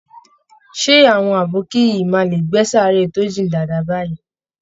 Ṣé àwọn abokí yìí máa lè gbẹ́ sàáré tó jìn dáadáa báyìí?